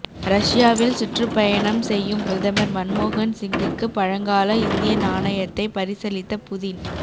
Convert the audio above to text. ரஷ்யாவில் சுற்றுப்பயணம் செய்யும் பிரதமர் மன்மோகன் சிங்குக்கு பழங்கால இந்திய நாணயத்தை பரிசளித்த புதின்